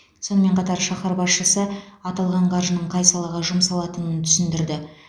сонымен қатар шаһар басшысы аталған қаржының қай салаға жұмсалатынын түсіндірді